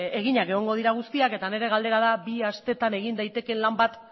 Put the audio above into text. eginak egongo dira guztiak eta nire galdera da bi asteetan egin daitekeen lan bat